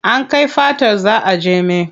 An kai fatar za a jeme.